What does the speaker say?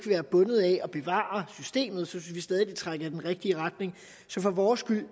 være bundet af at bevare systemet synes vi stadig at det trækker i den rigtige retning så for vores skyld